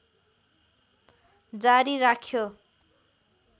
जारी राख्यो